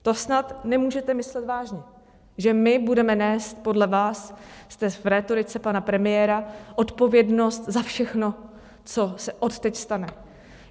To snad nemůžete myslet vážně, že my budeme nést podle vás, jste v rétorice pana premiéra, odpovědnost za všechno, co se od teď stane.